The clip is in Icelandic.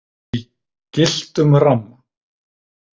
Í gylltum ramma.